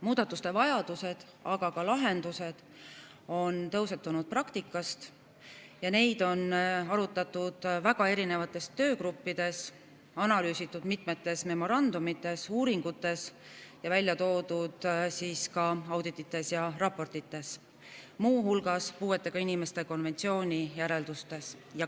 Muudatuste vajadused, aga ka lahendused on tõusetunud praktikast ja neid on arutatud väga erinevates töögruppides, analüüsitud mitmetes memorandumites ja uuringutes ning välja toodud ka auditites ja raportites, muu hulgas puuetega inimeste konventsiooni järeldustes.